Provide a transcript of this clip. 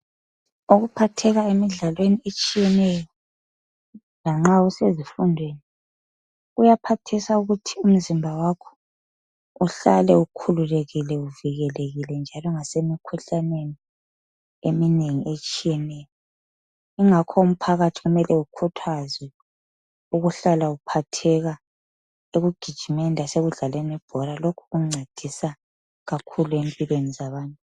Ukuphatheka emidlalweni etshiyeneyo lanxa usezifundweni kuyaphathisa ukuthi umzimba wakho uhlale ukhululekile, uvikelekile njalo lase mikhuhlaneni eminengi etshiyeneyo kungakho umphakathi kumele ukhuthazwe ukuhlala uphatheka ekugijimeni lasekudlaleni ibhora lokhu kuncedisa kakhulu empilweni zabantu.